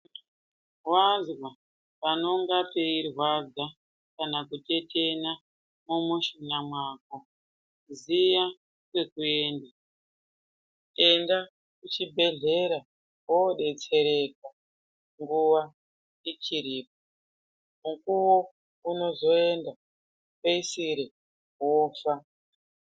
Wazwa panonga peirwadza kana kutetena mumushuna mwako ziya kwekuenda ,enda kuchibhedhleya wobetsereka nguwa ichiripo ,mukuwo unozoenda peisire wofa.